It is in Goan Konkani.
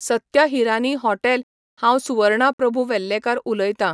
सत्य हिरानी हॉटेल हांव सुवर्णा प्रभू वेल्लेकर उलयतां.